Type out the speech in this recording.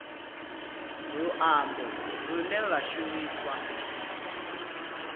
luambo lune lwa shumiswa u